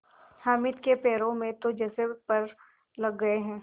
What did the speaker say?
हामिद के पैरों में तो जैसे पर लग गए हैं